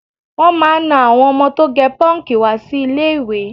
Wọ́n máà ń na àwọn ọmọ tó gẹ pọ́ǹkì wá sí ilé-ìwé